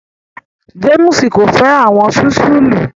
James ko fẹ awọn sísúlù